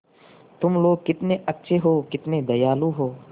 तुम लोग कितने अच्छे हो कितने दयालु हो